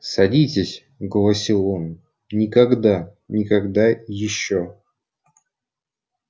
садитесь голосил он никогда никогда ещё